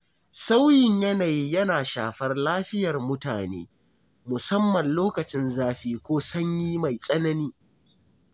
Sauyin yanayi yana shafar lafiyar mutane, musamman lokacin zafi ko sanyi mai tsanani.